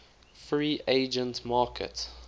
free agent market